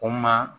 O ma